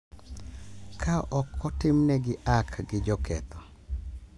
Ka ok otimnegi hack gi joketho.